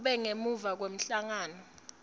kube ngemuva kwemhlangano